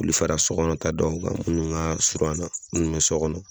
K'olu fara sɔ gɔnɔ ta dɔw kan munnu ka surun an na munnu be sɔ gɔnɔ